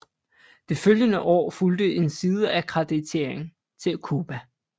Det følgende år fulgte en sideakkreditering til Cuba